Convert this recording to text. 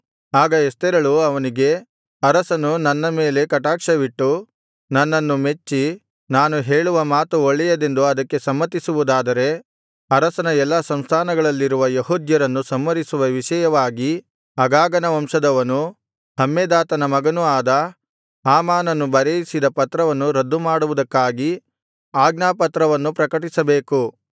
ಆಗ ಎಸ್ತೇರಳು ಅವನಿಗೆ ಅರಸನು ನನ್ನ ಮೇಲೆ ಕಟಾಕ್ಷವಿಟ್ಟು ನನ್ನನ್ನು ಮೆಚ್ಚಿ ನಾನು ಹೇಳುವ ಮಾತು ಒಳ್ಳೆಯದೆಂದು ಅದಕ್ಕೆ ಸಮ್ಮತಿಸುವುದಾದರೆ ಅರಸನ ಎಲ್ಲಾ ಸಂಸ್ಥಾನಗಳಲ್ಲಿರುವ ಯೆಹೂದ್ಯರನ್ನು ಸಂಹರಿಸುವ ವಿಷಯವಾಗಿ ಅಗಾಗನ ವಂಶದವನೂ ಹಮ್ಮೆದಾತನ ಮಗನು ಆದ ಹಾಮಾನನು ಬರೆಯಿಸಿದ ಪತ್ರವನ್ನು ರದ್ದುಮಾಡುವುದಕ್ಕಾಗಿ ಆಜ್ಞಾಪತ್ರವನ್ನು ಪ್ರಕಟಿಸಬೇಕು